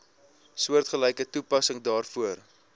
soortgelyke toepassing daarvoor